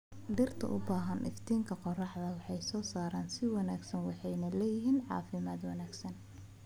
Dhirta u baahan iftiinka qorraxda waxay soo saaraan si wanaagsan waxayna leeyihiin caafimaad wanaagsan.